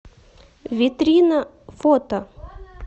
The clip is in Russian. витрина фото